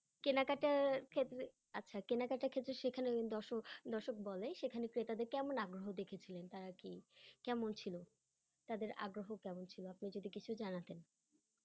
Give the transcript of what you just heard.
কেনাকাটার ক্ষেত্রে, আচ্ছা কেনাকাটার ক্ষেত্রে সেখানের দর্শক, দর্শক বলে সেখানে ক্রেতাদের কেমন আগ্রহ দেখেছিলেন তারা কি, কেমন ছিলো তাদের আগ্রহ কেমন ছিলো আপনি যদি কিছু জানাতেন।